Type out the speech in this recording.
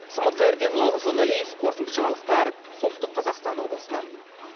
самат қайырденұлы руслан әлиев қорытынды жаңалықтар солтүстік қазақстан облысынан